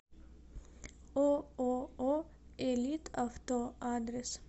ооо элитавто адрес